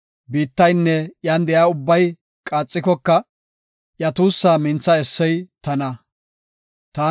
Biittaynne iyan de7iya ubbay qaaxikoka, iya tuussaa mintha essey tana. Salaha